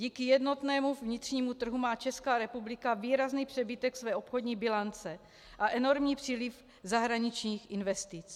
Díky jednotnému vnitřnímu trhu má Česká republika výrazný přebytek své obchodní bilance a enormní příliv zahraničních investic.